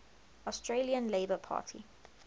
australian labor party